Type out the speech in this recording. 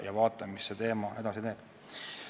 Ja vaatame, kuidas see teema edasi läheb.